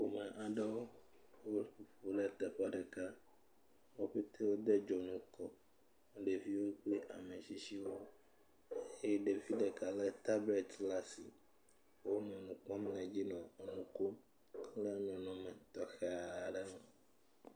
Ame aɖewo, wo, wole teƒe ɖeka. Wo ƒete wo de dzonu kɔ, ɖeviwo kple ame tsitsiwo eye ɖevi ɖeka le tablet ɖe asi. Wonɔ nu kpɔm le edzi le nu kom. Wole nɔnɔ me tɔxɛ aɖe me.